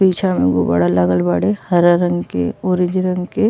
पीछे में गुबाड़ा लागल बाड़े हरा रंग के ऑरेंज रंग के।